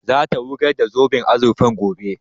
Za ta wurgar da zoben azurfan gobe